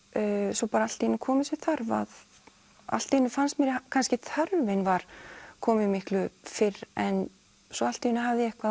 svo bara allt í einu kom þessi þörf að allt í einu fannst mér kannski að þörfin var komin miklu fyrr en svo allt í einu hafði ég eitthvað